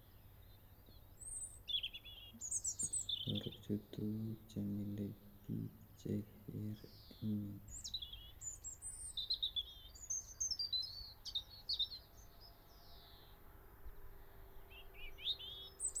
Ochon tuguk chemile biik cheikere en yu